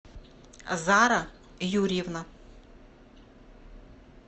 зара юрьевна